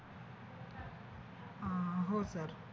अह हो सर